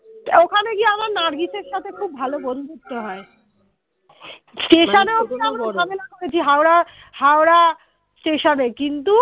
ওখানে গিয়ে আমার নার্গিসের সাথে খুব ভালো বন্ধুত্ব হয় station ও হচ্ছে আমরা ঝামেলা করেছি Howrah Howrah Station এ কিন্তু